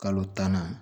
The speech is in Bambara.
Kalo tan na